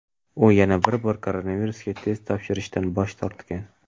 u yana bir bor koronavirusga test topshirishdan bosh tortgan.